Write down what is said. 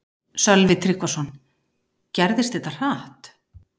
Sölvi Tryggvason: Gerðist þetta hratt?